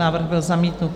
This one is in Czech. Návrh byl zamítnut.